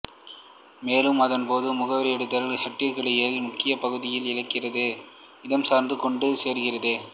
மேலும் அதன் பொது முகவரியிடுதல் ஹெட்டருக்கிடையில் முக்கியப் பகுதிகளை இலக்கிற்கு இடம்சார்ந்து கொண்டு சேர்க்கிறது